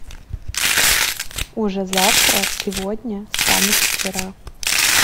уже завтра сегодня станет вчера